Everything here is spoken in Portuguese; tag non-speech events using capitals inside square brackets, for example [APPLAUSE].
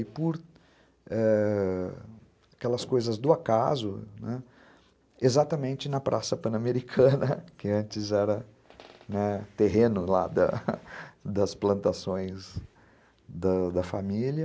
E por ãh... aquelas coisas do acaso, exatamente na Praça Pan-Americana, [LAUGHS] que antes era terreno [UNINTELLIGIBLE] das plantações da da família,